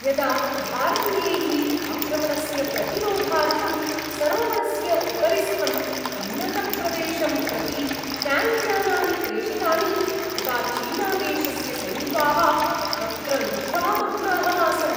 यदा भारतीयैः आक्रमणस्य प्रतिरोधार्थं सरोवरस्य उपरिस्थम् उन्नतप्रदेशं प्रति ट्याङ्क्यानानि प्रेषितानि तदा चीनादेशस्य सैनिकाः तत्र निद्रामग्नाः आसन्।